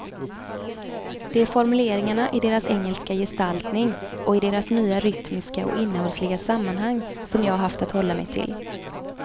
Det är formuleringarna i deras engelska gestaltning och i deras nya rytmiska och innehållsliga sammanhang som jag haft att hålla mig till.